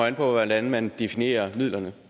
an på hvordan man definerer midlerne